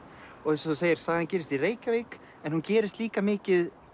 eins og þú segir sagan gerist í Reykjavík en hún gerist líka mikið